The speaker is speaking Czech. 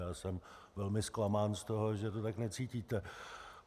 Já jsem velmi zklamán z toho, že to tak necítíte.